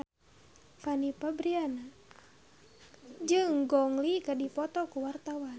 Fanny Fabriana jeung Gong Li keur dipoto ku wartawan